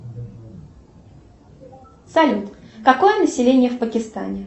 салют какое население в пакистане